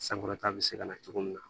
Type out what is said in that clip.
Sankɔrɔta bɛ se ka na cogo min na